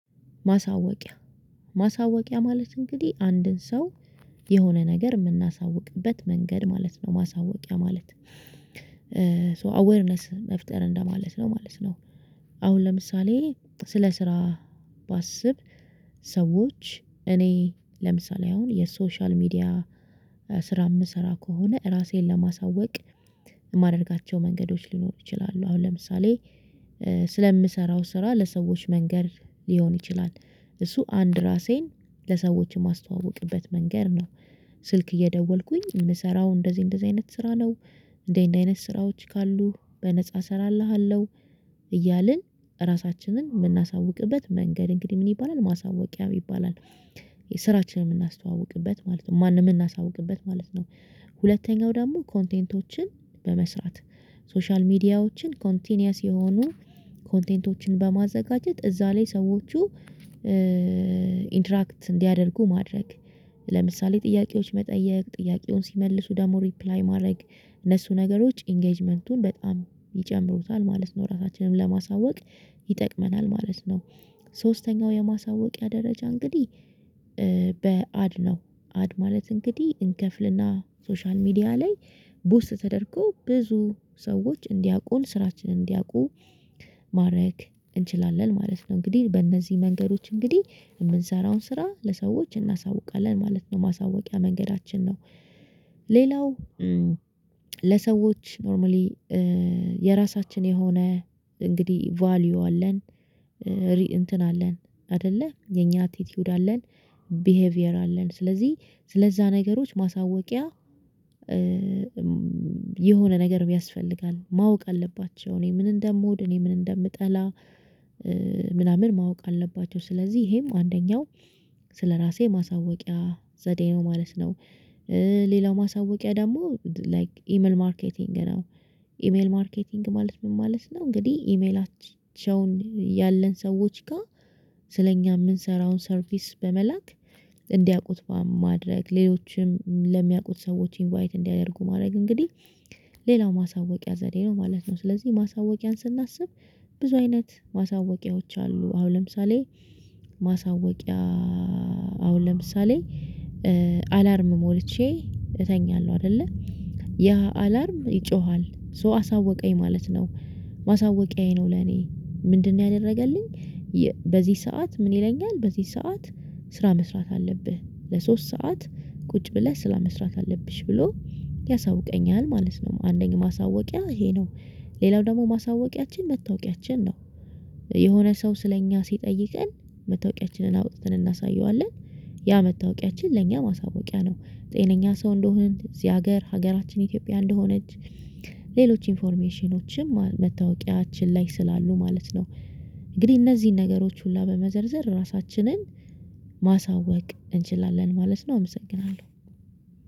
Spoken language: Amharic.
ማሳወቂያ፤ ማሳወቂያ ማለት እንግዲህ አንድን ሰው የሆነ ነገር የምናሳውቅበት መንገድ ማለት ነው ማሳወቂያ ማለት። ሶ አዌርነስ መፍጠር እንደማለት ነው ማለት ነው። አሁን ለምሳሌ ስለ ስራ ባስብ ሰዎች እኔ ለምሳሌ አሁን የሶሻል ሚዲያ ስራ የምሰራ ከሆነ እራሴን ለማሳወቅ የማደርጋቸው መንገዶች ሊኖሩ ይችላሉ። አሁን ለምሳሌ ስለምሰራው ስራ ለሰዎች መንገድ ሊሆን ይችላል እሱ አንድ ራሴን ለሰዎች የማስተዋውቅበት መንገድ ነው። ስልክ እየደወልኩኝ የምሰራው እንደዚህ እንደዚህ አይነት ስራ ነው እንደዚህ እንደዚህ አይነት ስራዎች ካሉ በነፃ እሰራልሃለሁ እያልን ራሳችንን የምናሳውቅበት መንገድ እንግዲህ ምን ይባላል ማሳወቂያ ይባላል። ስራችንን የምናስተዋውቅበት ማለት ነው ማንን የምናስተዋውቅበት ማለት ነው። ሁለተኛው ደግሞ ኮንቴንቶችን በመስራት፤ ሶሻል ሚዲያዎችን ኮንቲኒየስ የሆኑ ኮንቴንቶችን በማዘጋጀት፤ እዛ ላይ ሰዎቹ ኢንተራክት እንዲያደርጉ ማድረግ። ለምሳሌ ጥያቄዎች መጠየቅ ጥያቄውን ሲመልሱ ደግሞ ሪፕላይ ማድረግ እነሱ ነገሮች ኢንጌጅመንቱን በጣም ይጨምሩታል ማለት ነው ራሳችንን ለማሳወቅ ይጠቅመናል ማለት ነው። ሶስተኛው የማሳወቂያ ደረጃ እንግዲህ፤ በአድ ነው። አድ ማለት እንግዲህ እንከፍልና ሶሻል ሚዲያ ላይ፤ ቡስት ተደርጎ ብዙ ሰዎች እንዲያውቁን ስራችንን እንዲያውቁ ማድረግ እንችላለን ማለት ነው። እንግዲህ በእነዚህ መንገዶች እንግዲህ የምንሰራውን ስራ ለሰዎች እናሳውቃለን ማለት ነው። ማሳወቂያ መንገዳችን ነው ሌላው ለሰዎች ኖርማሊ የራሳችን የሆነ እንግዲህ ቫልዩ አለን። እንትን አለን አይደለ የኛ አቲቲዩድ አለን፤ ቢሄቪየር አለን። ስለዚህ ስለዛ ነገሮች ማሳወቂያ የሆነ ነገር ያስፈልጋል ማወቅ አለባቸው እኔ ምን እንደምውድ እኔ ምን እንደምጠላ ምናምን ማወቅ አለባቸው ስለዚህ ይሄም አንደኛው ስለራሴ ማሳወቂያ ዘዴ ነው ማለት ነው። ሌላው ማሳወቂያ ደግሞ ላይክ ኢሜል ማርኬቲንግ ነው። ኢሜል ማርኬቲንግ ማለት ምን ማለት ነው እንግዲህ ኢሜላቸውን ያለን ሰዎች ጋር ስለኛ የምንሰራውን ሰርቪስ በመላክ እንዲያውቁት ማድረግ ሌሎችም ለሚያውቁት ሰዎች ኢንቫይት እንዲያደርጉ ማድረግ እንግዲህ ሌላው ማሳወቂያ ዘዴ ነው ማለት ነው ስለዚህ ማሳወቂያን ስናስብ ብዙ አይነት ማሳወቂያዎች አሉ። አሁን ለምሳሌ ማሳወቂያ አሁን ለምሳሌ አላርም ሞልቼ እተኛለሁ አይደለ ያ አላርም ይጮሃል ሶ አሳወቀኝ ማለት ነው። ማሳወቂያዬ ነው ለኔ። ምንድነው ያደረገልኝ በዚህ ሰዓት ምን ይለኛል በዚህ ሰዓት ስራ መስራት አለብህ ለሶስት ሰዓት ቁጭ ብለህ ስላመስራት አለብሽ ብሎ ያሳውቀኛል ማለት ነው። አንደኛ ማሳወቂያ ይሄ ነው ሌላው ደግሞ ማሳወቂያችን መታወቂያችን ነው። የሆነ ሰው ስለኛ ሲጠይቀን መታወቂያችንን አውጥተን እናሳየዋለን። ያ መታወቂያችን ለእኛ ማሳወቂያ ነው የነኛ ሰው እንደሆን፤ እዚህ ሀገር ሀገራችን ኢትዮጵያ እንደሆነች፤ ሌሎች ኢንፎርሜሽኖችም መታወቂያችን ላይ ስላሉ ማለት ነው። እንግዲህ እነዚህን ነገሮች ሁሉ በመዘርዘር ራሳችንን ማሳወቅ እንችላለን ማለት ነው አመሰግናለሁ።